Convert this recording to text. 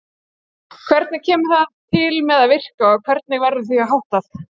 Hvernig kemur það til með að virka og hvernig verður því háttað?